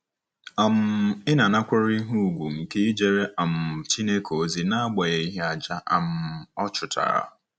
um Ị̀ na-anakwere ihe ùgwù nke ijere um Chineke ozi n'agbanyeghị àjà um ọ chụtara?